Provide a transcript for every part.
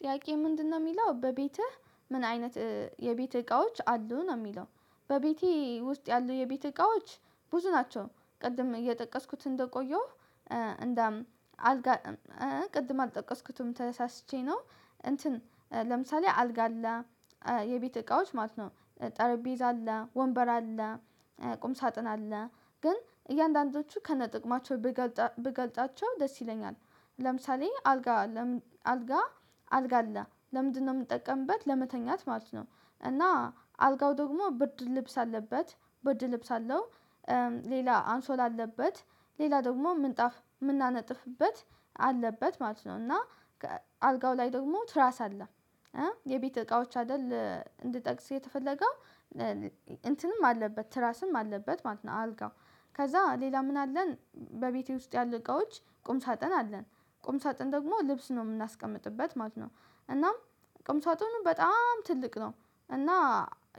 ጥያቄ ምንድነው የሚለው በቤትህ ምን አይነት የቤት እቃዎች አሉ ነው የሚለው? በቤቴ ውስጥ ያሉ የቤት እቃዎች ብዙ ናቸው። ቅድም የጠቀስኩት እንደቆየሁ እንደ አልጋ ቅድም አልጠቀስኩትም ተሳስቼ ነው። እንትን ለምሳሌ አልጋ አለ የቤት እቃዎች ማለት ነው። ጠረጴዛ አለ ወንበር አለ ቁም ሳጥን አለ ግን እያንዳንዶቹ ከነጥቅማቸው ብገልጻቸው ደስ ይለኛል። ለምሳሌ አልጋ አልጋ አለ ለምንድነው የምጠቀምበት ለመተኛት ማለት ነው። እና አልጋው ደግሞ ብርድ ልብስ አለበት ብርድ ልብስ አለው። ሌላ አንሶላ አለበት ሌላ ደግሞ ምንጣፍ የምናነጥፍበት አለበት ማለት ነው። እና አልጋው ላይ ደግሞ ትራስ አለ። የቤት እቃዎች አይደል እንድጠቅስ የተፈለገው እንትንም አለበት ትራስም አለበት ማለት ነው። አልጋው ከዛ ሌላ ምን አለን በቤቴ ውስጥ ያሉ እቃዎች ቁምሳጥን አለን። ቁም ሳጥን ደግሞ ልብስ ነው የምናስቀምጥበት ማለት ነው። እናም ቁምሳጥኑ በጣም ትልቅ ነው። እና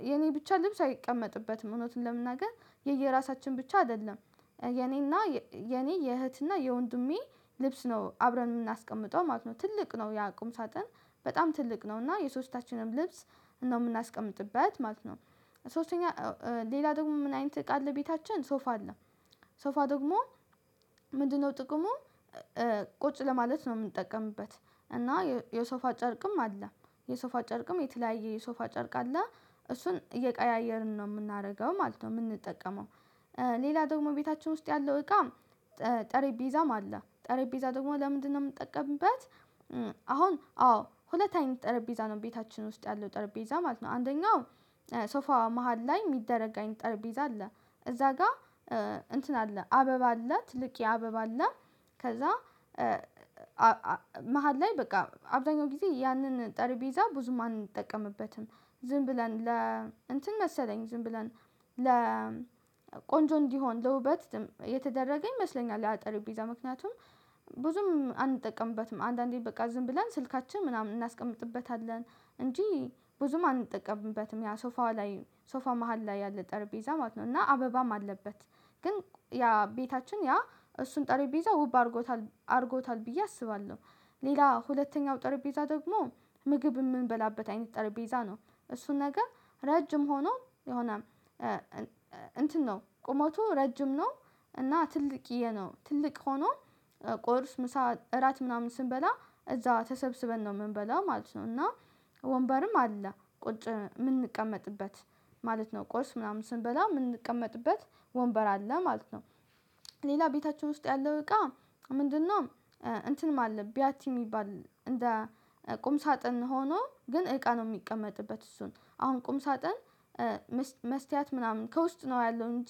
የኔ ብቻ ልብስ አይቀመጥበትም እውነቱን ለመናገር የየራሳችን ብቻ አይደለም። የኔና የኔ የእህትና የወንድሜ ልብስ ነው አብረን የምናስቀምጠው ማለት ነው። ትልቅ ነው ያ ቁምሳጥን በጣም ትልቅ ነው እና የሶስታችንም ልብስ ነው የምናስቀምጥበት ማለት ነው። ሶስተኛ ሌላ ደግሞ ምን አይነት እቃ አለ? ቤታችን ሶፋ አለ። ሶፋ ደግሞ ምንድነው ጥቅሙ? ቁጭ ለማለት ነው የምንጠቀምበት። እና የሶፋ ጨርቅም አለ የሶፋ ጨርቅም የተለያየ የሶፋ ጨርቅ አለ እሱን እየቀያየርን ነው የምናደርገው ማለት ነው የምንጠቀመው። ሌላ ደግሞ ቤታችን ውስጥ ያለው እቃ ጠረጴዛም አለ ጠረጴዛ ደግሞ ለምንድነው የምንጠቀምበት? አሁን አዎ ሁለት አይነት ጠረጴዛ ነው ቤታችን ውስጥ ያለው ጠረጴዛ ማለት ነው። አንደኛው ሶፋ መሃል ላይ የሚደረግ ጠርጴዛ አለ። እዛ ጋር እንትን አለ አበባ አለ ትልቅዬ አበባ አለ ከዛ መሃል ላይ በቃ አብዛኛው ጊዜ ያንን ጠረጴዛ ብዙም አንጠቀምበትም። ዝም ብለን ለ እንትን መሰለኝ ዝም ብለን ለቆንጆ እንዲሆን ለውበት የተደረገ ይመስለኛል ያ ጠረጴዛ ምክንያቱም ብዙም አንጠቀምበትም አንዳንዴ በቃ ዝም ብለን ስልካችን ምናምን እናስቀምጥበታለን እንጂ ብዙም አንጠቀምበትም። ያ ሶፋው ላይ ሶፋ መሃል ላይ ያለ ጠረጴዛ ማለት ነው እና አበባም አለበት። ግን ያ ቤታችን ያ እሱን ጠረጴዛ ውብ አድርጎታል አድርጎታል ብዬ አስባለሁ። ሌላ ሁለተኛው ጠረጴዛ ደግሞ ምግብ የምንበላበት አይነት ጠረጴዛ ነው እሱን ነገር ረጅም ሆኖ የሆነም እንትን ነው ቁመቱ ረጅም ነው። እና ትልቅዬ ነው ትልቅ ሆኖ ቁርስ ምሳ እራት ምናምን ስንበላ እዛ ተሰብስበን ነው የምንበላው ማለት ነው። እና ወንበርም አለ ቁጭ የምንቀመጥበት ማለት ነው ቁርስ ምናምን ስንበላ የምንቀመጥበት ወንበር አለ ማለት ነው። ሌላ ቤታችን ውስጥ ያለው እቃ ምንድነው? እንትን ማለት ቢያቲ የሚባል እንደ ቁም ሳጥን ሆኖ ግን እቃ ነው የሚቀመጥበት እሱን አሁን ቁም ሳጥን። መስተያት ምናምን ከውስጥ ነው ያለው እንጂ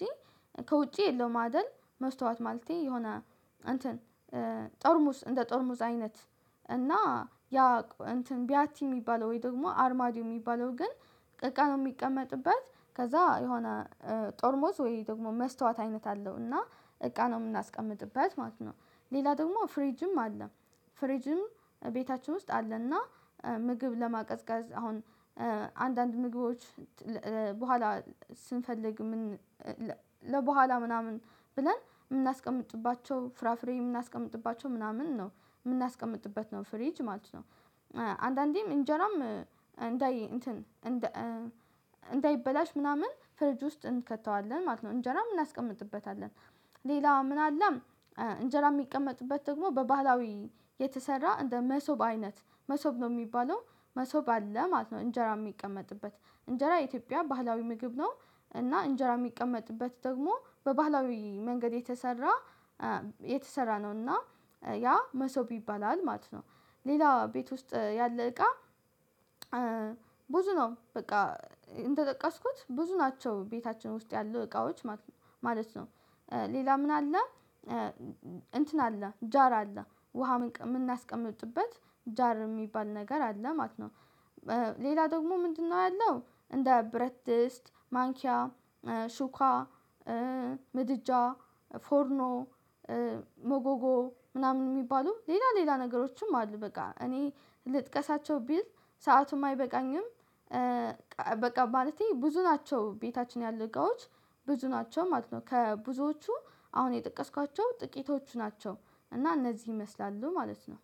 ከውጪ የለውም አይደል? መስተዋት ማለቴ የሆነ አንተን ጠርሙዝ እንደ ጠርሙዝ አይነት እና ያ እንትን ቢያቲ የሚባለው ወይ ደግሞ አርማዲው የሚባለው ግን እቃ ነው የሚቀመጥበት። ከዛ የሆነ ጠርሙዝ ወይ ደግሞ መስታወት አይነት አለው እና እቃ ነው የምናስቀምጥበት ማለት ነው። ሌላ ደግሞ ፍሪጅም አለ ፍሪጅም ቤታችን ውስጥ አለና ምግብ ለማቀዝቀዝ አሁን አንዳንድ ምግቦች በኋላ ስንፈልግ ምን ለበኋላ ምናምን ብለን የምናስቀምጥባቸው ፍራፍሬ የምናስቀምጥባቸው ምናምን ነው የምናስቀምጥበት ነው ፍሪጅ ማለት ነው። አንዳንዴም እንጀራም እንዳይ እንትን እንዳይበላሽ ምናምን ፍርጅ ውስጥ እንከተዋለን ማለት ነው። እንጀራ እናስቀምጥበታለን ሌላ ምን አለ እንጀራ የሚቀመጥበት ደግሞ በባህላዊ የተሰራ እንደ መሶብ አይነት መሶብ ነው የሚባለው መሶብ አለ ማለት ነው። እንጀራ የሚቀመጥበት እንጀራ የኢትዮጵያ ባህላዊ ምግብ ነው እና እንጀራ የሚቀመጥበት ደግሞ በባህላዊ መንገድ የተሰራ የተሰራ ነው እና ያ መሶብ ይባላል ማለት ነው። ሌላ ቤት ውስጥ ያለ እቃ ብዙ ነው በቃ እንደጠቀስኩት ብዙ ናቸው ቤታችን ውስጥ ያሉ እቃዎች ማለት ነው። ሌላ ምን አለ? እንትን አለ ጃር አለ ውሃ ምን የምናስቀምጥበት ጃር የሚባል ነገር አለ ማለት ነው። ሌላ ደግሞ ምንድነው ያለው? እንደ ብረት ድስት ማንኪያ ሹካ ምድጃ ፎርኖ ሞጎጎ ምናምን የሚባሉ ሌላ ሌላ ነገሮችም አሉ በቃ እኔ ልጥቀሳቸው ብል ሰአቱም አይበቃኝም በቃ ማለቴ ብዙ ናቸው ቤታችን ያሉ እቃዎች ብዙ ናቸው ማለት ነው። ከብዙዎቹ አሁን የጠቀስኳቸው ጥቂቶቹ ናቸው። እና እነዚህ ይመስላሉ ማለት ነው።